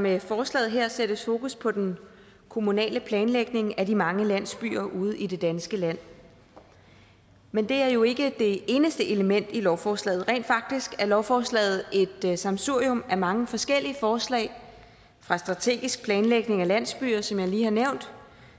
med forslaget her sættes fokus på den kommunale planlægning af de mange landsbyer ude i det danske land men det er jo ikke det eneste element i lovforslaget rent faktisk er lovforslaget et sammensurium af mange forskellige forslag fra strategisk planlægning af landsbyer som jeg lige har nævnt